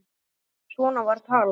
Svona var talað.